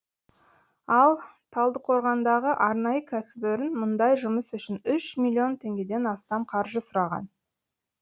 ал талдықорғандағы арнайы кәсіпорын мұндай жұмыс үшін үш миллион теңгеден астам қаржы сұраған